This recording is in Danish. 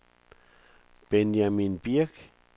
Benjamin Birch